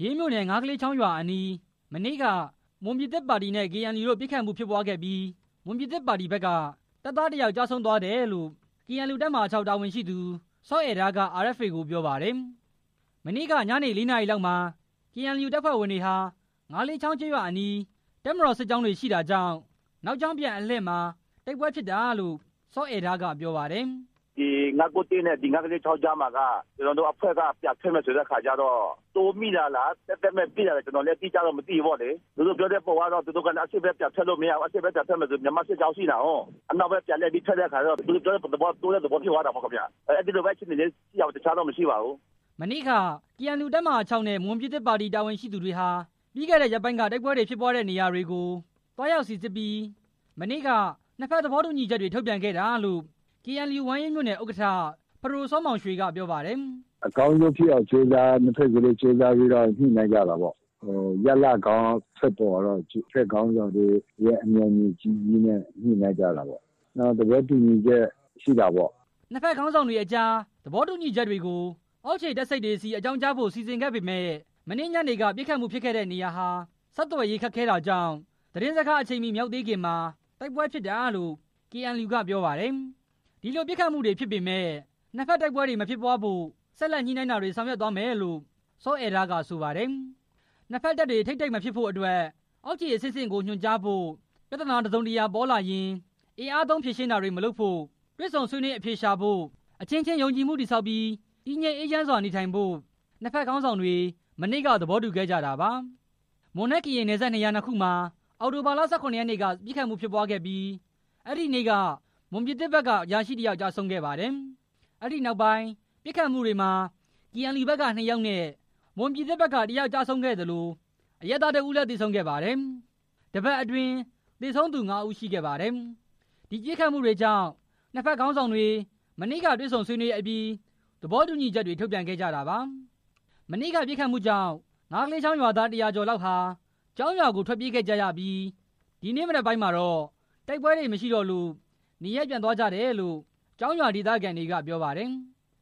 ရေးမြို့နယ် ငါးကလေးချောင်းရွာအနီး မနေ့က မွန်ပြည်သစ်ပါတီနဲ့ KNU တို့ ပစ်ခတ်မှုဖြစ်ပွားခဲ့ပြီး မွန်ပြည်သစ်ပါတီ ဘက်က တပ်သားတစ်ယောက် ကျဆုံးသွားတယ်လို့ KNU တပ်မဟာ ၆ တာဝန်ရှိသူ စောအဲဒါး က RFA ကို ပြော ပါတယ်။ မနေ့က ညနေ၄နာရီလောက်မှာ KNU တပ်ဖွဲ့ဝင်တွေဟာ ငါးလေးချောင်းကျေးရွာအနီး တပ်မတော်စစ်ကြောင်းတွေ ရှိတာကြောင့် နောက်ကြောင်းပြန်အလှည့်မှာ တိုက်ပွဲဖြစ်တာလို့ စောအဲဒါး က ပြောပါတယ်။ “ဒီ ၅၉၁ နဲ့ ငါးကလေးချောင်းကြားမှာက ကျနော်တို့အဖွဲ့က ပြန်ထွက်မယ်ဆိုတဲ့အခါကျတော့ တိုးမိတာလား သက်သက်မဲ့ပစ်တာလား ကျနော်တော့ အတိအကျမသိဘူးပေါ့လေ၊ သူတို့ပြောတဲ့ပုံအရ သူတို့အရှေ့ဘက်ကို ပြန်ထွက်လို့မရဘူး အရှေ့ဘက်ပြန်ထွက်မယ်ဆိုရင် မြန်မာစစ်ကြောင်းရှိနေတာကိုး၊ အနောက်ဘက်ပြန်လှည့်ပြီး ထွက်တဲ့အခါကျတော့ သူတိ့ုပြောတဲ့သဘောကတော့ တိုးတဲ့သဘောဖြစ်သွားတာပေါ့၊ အဲဒီလိုလေးရှိတာပေါ့ အခြားအခြေအနေတော့မရှိပါဘူး” မနေ့က KNU တပ်မဟာ ၆ နဲ့ မွန်ပြည်သစ်ပါတီ တာဝန်ရှိသူတွေဟာ ပြီးခဲ့တဲ့ရက်ပိုင်းက တိုက်ပွဲဖြစ်ခဲ့တဲ့နေရာတွေ ကို သွားရောက်စီစစ်ပြီး မနေ့က နှစ်ဘက် သဘောတူညီချက်တွေ ထုတ်ပြန်ခဲ့တာလို့ KNU ဝမ်းရေးမြို့နယ် ဥက္ကဋ္ဌ ပဒိုစောမောင်ရွှေ က ပြောပါတယ်။ “အကောင်းဆုံးဖြစ်အောင် နှစ်ဘက်စလုံးညှိနှိုင်းကျတာပေါ့၊ ရလဒ်ကောင်းထွက်ပေါ်လာအောင် နှစ်ဘက်ခေါင်းဆောင်တွေ၊ အမြော်အမြင်ကြီးကြီးနဲ့ ညှိနှိုင်းကျတာပေါ့၊ သဘောတူညီချက်ရှိတာပေါ့” နှစ်ဘက်ခေါင်းဆောင်တွေအကြား သဘောတူညီချက်တွေကို အောက်ခြေတပ်စိပ်တွေဆီ အကြောင်းကြားဖို့ စီစဉ်ခဲ့ပေမယ့် မနေ့ညနေက ပစ်ခတ်မှုဖြစ်တဲ့နေရာဟာ ဆက်သွယ်ရေး ခက်ခဲတာကြောင့် သတင်းစကား အချိန်မီမရောက်သေးခင်မှာ တိုက်ပွဲဖြစ်တာလို့ KNU က ပြောပါတယ်။ ဒီလိုပစ်ခတ်မှုတွေဖြစ်ပေမယ့် နှစ်ဘက်တိုက်ပွဲတွေမဖြစ်ပွားဖို့ ဆက်လက်ညှိနှိုင်းတာတွေ ဆောင်ရွက်သွားမယ်လို့ စောအဲဒါးက ဆိုပါတယ်။ နှစ်ဘက်ခေါင်းဆောင်တွေ အမြော်အမြင်ကြီးကြီးနဲ့ ညှိနှိုင်းကျတာပေါ့ နှစ်ဘက်တပ်တွေ ထိပ်တိုက်မဖြစ်ဖို့အတွက် အောက်ခြေ အဆင့်ဆင့်ကို ညွှန်ကြားဖို့၊ ပြဿနာ တစ်စုံတစ်ရာ ဖြစ်ပေါ်လာရင် အင်အားသုံးဖြေရှင်းတာတွေ မလုပ်ဘဲ တွေ့ဆုံဆွေးနွေးအဖြေရှာဖို့၊ အချင်းချင်း ယုံကြည်မှု တည်ဆောက်ပြီး တည်ငြိမ်အေးချမ်းစွာနေထိုင်ဖို့ နှစ် ဘက်ခေါင်းဆောင်တွေ မနေ့က သဘောတူခဲ့ကြတာပါ။ မွန်နဲ့ကရင်နယ်စပ်နေရာနှစ်ခုမှာ အောက်တိုဘာ ၁၇ ရက်နေ့က ပစ်ခတ်မှုဖြစ်ပွားပြီး မွန်ပြည်သစ်ဘက်က အရာရှိ တစ်ယောက် ကျဆုံးခဲ့ပါတယ်။ အဲဒီပစ်ခတ်မှုတွေကြောင့် နှစ်ဘက်ခေါင်းဆောင်တွေ မနေ့က တေ့ွဆုံဆွေးနွေးပြီး သဘောတူညီချက်တွေ ထုတ်ပြန်ခဲ့ကြတာပါ။ မနေ့က ပစ်ခတ်မှုကြောင့် ငါးကလေးချောင်းရွာသား ၁၀၀ကျော်လောက်ဟာ ကျောင်းရွာကို ထွက်ပြေးခဲ့ကြပြီး ဒီနေ့မနက်ပိုင်းမှာတော့ တိုက်ပွဲမရှိတော့လို့ နေရပ်ပြန်သွားကြတယ်လို့ ကျောင်းရွာဒေသခံတွေက ပြောပါတယ်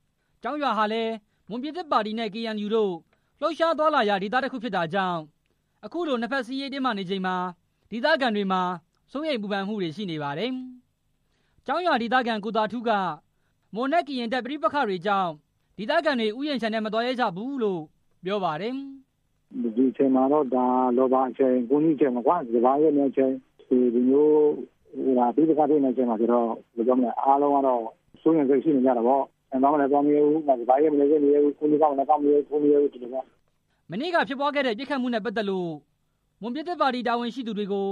။ ကျောင်းရွာဟာလည်း မွန်ပြည်သစ်ပါတီနဲ့ ကေအန်ယူ တို့ လှုပ်ရှားသွားလာရာ ဒေသတစ်ခုဖြစ်တာကြောင့် အခုလို နှစ်ဖက်စစ်ရေးတင်းမာနေချိန်မှာ ဒေသခံတွေမှာ စိုးရိမ်ပူပန်မှုတွေ ရှိနေပါတယ်။ ကျောင်းရွာဒေသခံ ကိုသာထူးက မွန်နဲ့ကရင်တပ် ပဋိပက္ခတွေကြောင့် ဒေသခံတွေ ဥယျာဉ်ခြံတွေထဲ မသွားရဲကြဘူးလို့ ပြောပါတယ်။ “ဒီအချိန်က ရာဘာ၊ ကွမ်းသီး၊ စပါးရိတ်သိမ်းချိန်ဆိုတော့ ဒီလိုမျိုးပဋိပက္ခဖြစ်နေတော့ အားလုံးက စိုးရိမ်စိတ် ရှိနေကြတာပေါ့၊ ခြံသွားမယ်ဆိုလည်း မသွားရဘူး၊ စပါးရိတ်လည်း မရိတ်ရဲဘူး၊ ကွမ်းသီးကောက်လည်း မကောက်ရဲဘူး ဖြစ်နေတာပေါ့” မနေ့က ဖြစ်ပွားခဲ့တဲ့ ပစ်ခတ်မှုနဲ့ပတ်သက်လို့ မွန်ပြည်သစ်ပါတီ တာဝန်ရှိသူတွေကို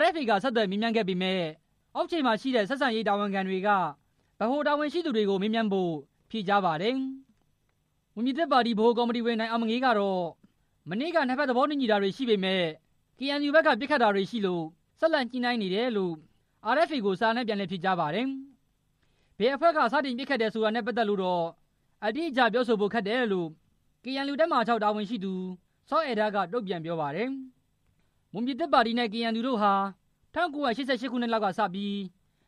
RFA က ဆက် သွယ်မေးမြန်းပေမယ့် အောက်ခြေမှာရှိတဲ့ ဆက်ဆံရေးတာဝန်ခံတွေက ဗဟိုတာဝန်ရှိသူတွေကို မေးမြန်းဖို့ပဲ ဖြေကြားပါတယ်။ မွန်ပြည်သစ်ပါတီဗဟိုကော်မတီဝင် နိုင်အောင်မငေး ကတော့ မနေ့က နှစ်ဘက်သဘောတူညီတာတွေရှိပေမယ့် KNU ဘက်က ပစ်ခတ်တာတွေရှိလို့ ဆက်လက်ညှိနှိုင်းနေတယ်လို့ RFA ကို စာနဲ့ ပြန်လည်ဖြေကြားပါတယ်။ ဘယ်အဖွဲ့က စတင်ပစ်ခတ်တယ်ဆိုတာနဲ့ပတ်သက်လို့တော့ အတိအကျပြောဆိုဖို့ ခက်တယ်လို့ KNU တပ်မဟာ ၆ တာဝန်ရှိသူ စောအဲဒါး က တုံ့ပြန်ပြောပါတယ်။ မွန်ပြည်သစ်ပါတီနဲ့ KNU တို့ဟာ ၁၉၈၈ ခုနစ်လောက်ကစပြီး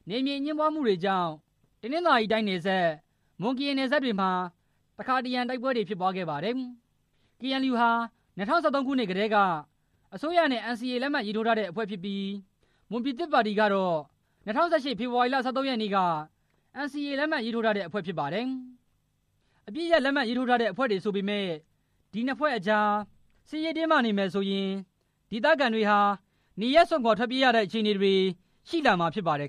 နယ်မြေအငြင်းပွားမှုတွေကြောင့် တနင်္သာရီတိုင်း နယ်စပ်၊ မွန်ကရင်နယ်စပ်တွေမှာ တခါတရံ တိုက်ပွဲ ဖြစ်ပွားခဲ့ပါတယ်။ KNU ဟာ ၂၀၁၃ ခုနှစ်ကတည်းက အစိုးရနဲ့ NCA လက်မှတ်ရေးထိုးထားတဲ့အဖွဲ့ဖြစ်ပြီး မွန်ပြည်သစ်ပါတီကတော့ ၂၀၁၈ ဖေဖော်ဝါရီလ ၁၃ရက်နေ့က NCA လက်မှတ်ရေးထိုးထားတဲ့ အဖွဲ့ ဖြစ်ပါတယ်။ တပ်မတော်နဲ့ အပစ်ရပ် လက်မှတ်ရေးထိုးထားတဲ့ အဖွဲ့တွေဆိုပေမယ့် ဒီနှစ်ဖွဲ့အကြား စစ်ရေးတင်းမာနေမယ်ဆိုရင် ဒေသခံတွေဟာ နေရပ်စွန့်ခွာထွက်ပြေးရတဲ့ အခြေအနေတွေရှိလာမှာဖြစ်ပါတယ်